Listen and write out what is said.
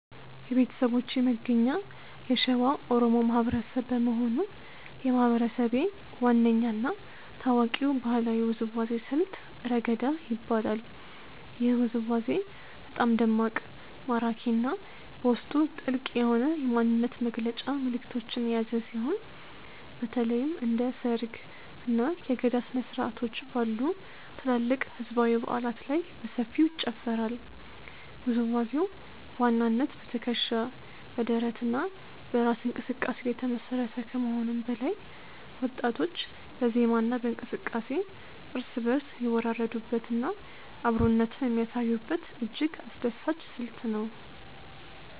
የቤተሰቦቼ መገኛ የሸዋ ኦሮሞ ማህበረሰብ በመሆኑ፣ የማህበረሰቤ ዋነኛ እና ታዋቂው ባህላዊ ውዝዋዜ ስልት "ረገዳ" ይባላል። ይህ ውዝዋዜ በጣም ደማቅ፣ ማራኪ እና በውስጡ ጥልቅ የሆነ የማንነት መግለጫ መልዕክቶችን የያዘ ሲሆን፣ በተለይም እንደ ሰርግ፣ እና የገዳ ስነ-ስርዓቶች ባሉ ትላልቅ ህዝባዊ በዓላት ላይ በሰፊው ይጨፈራል። ውዝዋዜው በዋናነት በትከሻ፣ በደረት እና በእራስ እንቅስቃሴ ላይ የተመሰረተ ከመሆኑም በላይ፣ ወጣቶች በዜማ እና በእንቅስቃሴ እርስ በእርስ የሚወራረዱበት እና አብሮነትን የሚያሳዩበት እጅግ አስደሳች ስልት ነው።